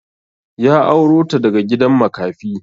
Ya auro to daga gidan makafi.